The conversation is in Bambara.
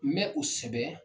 N bɛ u sɛbɛn